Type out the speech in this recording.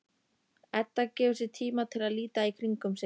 Edda gefur sér tíma til að líta í kringum sig.